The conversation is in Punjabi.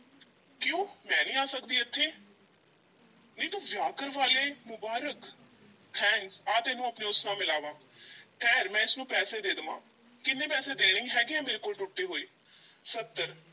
ਕਿਉਂ, ਮੈਂ ਨਹੀਂ ਆ ਸਕਦੀ ਏਥੇ ਨੀ ਤੂੰ ਵਿਆਹ ਕਰਵਾ ਲਿਆ ਏ, ਮੁਬਾਰਕ thanks ਆ ਤੈਨੂੰ ਆਪਣੇ ਉਸ ਨਾਲ ਮਿਲਾਵਾਂ ਠਹਿਰ ਮੈਂ ਇਸ ਨੂੰ ਪੈਸੇ ਦੇ ਲਵਾਂ, ਕਿੰਨੇ ਪੈਸੇ ਦੇਣੇ ਹੈਗੇ ਆ ਮੇਰੇ ਕੋਲ ਟੁੱਟੇ ਹੋਏ, ਸੱਤਰ